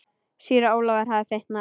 Síra Ólafur hafði fitnað.